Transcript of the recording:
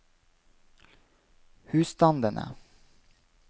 husstandene